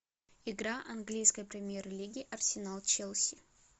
игра английской премьер лиги арсенал челси